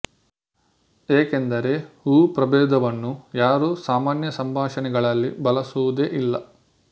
ಏಕೆಂದರೆ ಊ ಪ್ರಭೇದವನ್ನು ಯಾರೂ ಸಾಮಾನ್ಯ ಸಂಭಾಷಣೆಗಳಲ್ಲಿ ಬಳಸುವುದೇ ಇಲ್ಲ